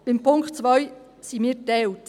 Beim Punkt 2 sind wir geteilt.